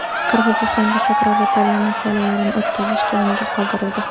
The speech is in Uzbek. Qirg‘izistonda takroriy parlament saylovlarini o‘tkazish keyinga qoldirildi.